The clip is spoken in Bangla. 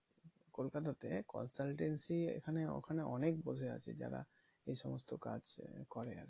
কোলকাতাতে consultancy এখানে ওখানে অনেক বসে আছে যারা এই সমস্ত কাজ করে আর কি